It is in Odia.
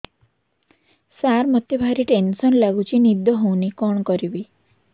ସାର ମତେ ଭାରି ଟେନ୍ସନ୍ ଲାଗୁଚି ନିଦ ହଉନି କଣ କରିବି